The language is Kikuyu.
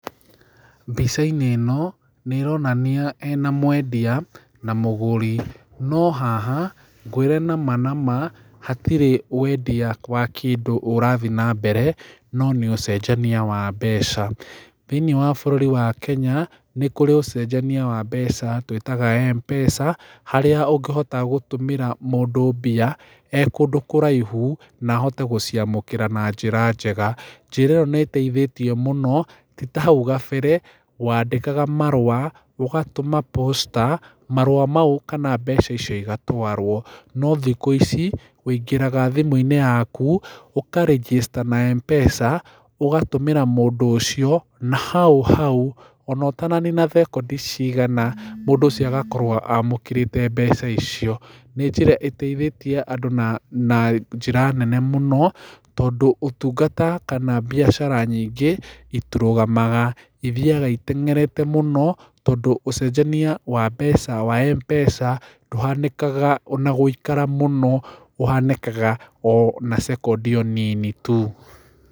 Mbica-inĩ ĩno nĩ ĩronania hena mwendia na mũgũri, no haha ngwĩre nama nama hatirĩ wendia wa kĩndũ ũrathiĩ na mbere no nĩ ũcenjania wa mbeca, thĩinĩ wa bũrũri wa Kenya, nĩ kũrĩ ũcenjania wa mbeca twĩtaga M-pesa, harĩa ũngĩhota gũtũmĩra mũndũ mbia e kũndũ kũraihu, na ahote gũciamũkĩra na njĩra njega, njĩra ĩyo nĩ ĩteithĩtie mũno, ti ta hau gabere, wandĩkaga marũa, ũgatũma Posta, marũa mau kana mbeca icio igatwarwo. No thikũ ici ũingĩraga thimũ-inĩ yaku, ũkarĩjĩsta na M-Pesa, ũgatũmĩra mũndũ ũcio, na hau hau, o na ũtananina thekondi cigana mũndũ ũcio agakorwo amũkĩrĩte mbeca icio. Nĩ njĩra ĩteithĩtie andũ na njĩra nene mũno tondũ ũtungata kana mbiacara nyingĩ itirũgamaga no ithiaga iteng'erete mũno tondũ ũcenjania wa mbeca wa M-Pesa ndũhanĩkaga na gũikara mũno ũhanĩkaga o na thekondi nini tu.